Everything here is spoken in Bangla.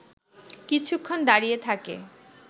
কিছুক্ষণ দাঁড়িয়ে থাকে